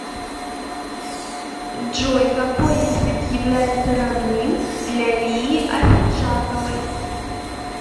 джой какои язык является родным для лии ахеджаковои